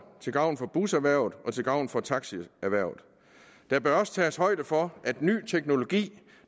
til gavn for buserhvervet og til gavn for taxierhvervet der bør også tages højde for at ny teknologi